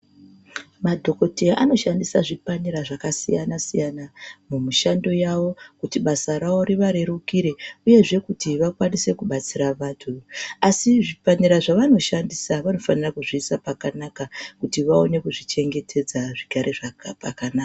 Madhogodheya anoshandisa zvipanera zvakasiyana-siyana mumushando kuti basa ravo rivarerukire uye zveee kuti vakwanise kubatsira vantu, asi zvipanera zvavanoshandisa vanofanira kuzviisa pakanaka kuti vaone kuzvichengetedza zvigare pakanaka.